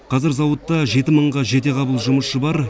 қазір зауытта жеті мыңға жете қабыл жұмысшы бар